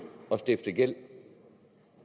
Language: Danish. at stifte gæld